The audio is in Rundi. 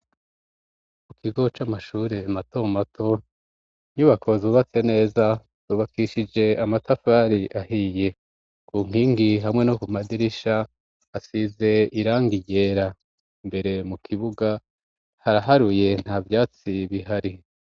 Ku kigo c'amashure matomato nyubakozubatse neza zubakishije amatafari ahiye ku nkingi hamwe no ku madirisha asize iranga iyera mbere mu kibuga haraharuye nta vyatsi bihari.